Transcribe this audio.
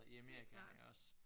Helt klart